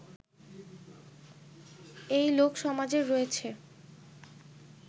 এই লোকসমাজের রয়েছে